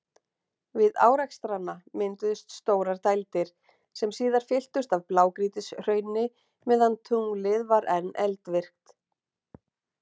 Við árekstrana mynduðust stórar dældir, sem síðar fylltust af blágrýtishrauni meðan tunglið var enn eldvirkt.